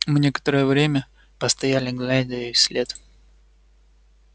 мы некоторое время постояли глядя ей вслед